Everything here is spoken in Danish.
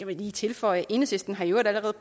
kan lige tilføjes at enhedslisten i øvrigt allerede